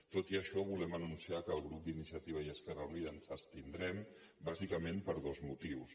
tot i això volem anunciar que el grup d’iniciativa i esquerra unida ens abstindrem bàsicament per dos motius